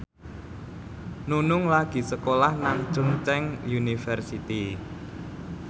Nunung lagi sekolah nang Chungceong University